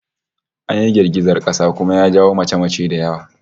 An yi girgizar kasa kuma ya jawo mace-mace da yawa